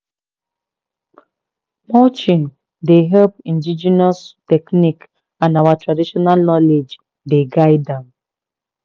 mulching dey help indigenous technique and our traditional knowledge dey guide am."